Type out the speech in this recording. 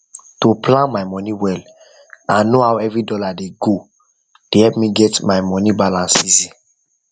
to plan my money well and know how every dollar dey godey help me get money balance easy